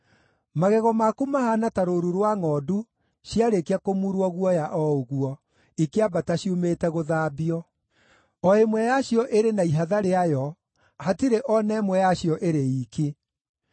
Magego maku mahaana ta rũũru rwa ngʼondu ciarĩkia kũmurwo guoya o ũguo, ikĩambata ciumĩte gũthambio. O ĩmwe yacio ĩrĩ na ihatha rĩayo; hatirĩ o na ĩmwe yacio ĩrĩ iiki.